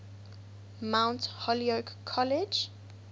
mount holyoke college